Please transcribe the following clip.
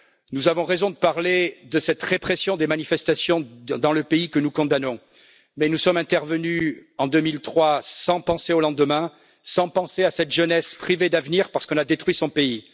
Nous avons raison de parler de cette répression des manifestations dans le pays, que nous condamnons, mais nous sommes intervenus en 2003 sans penser au lendemain, sans penser à cette jeunesse privée d'avenir, parce qu'on a détruit son pays.